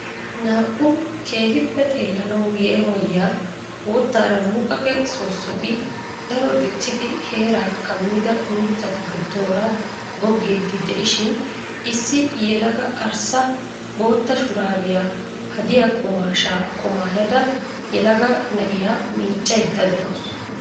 Naa'u keehiippe xeelanawu yeemoyiya boottaara muqaqe soosoti daro diccidi heeraa kamida mitatu gidoora gogiid de'ishiin issi yelaga arssa bootta shuraabiya hadiya qumaashaa qumaaydda yelaga na'iya miiccaydda de'awusu.